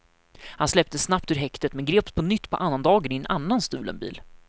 Han släpptes snabbt ur häktet, men greps på nytt på annandagen i en annan stulen bil.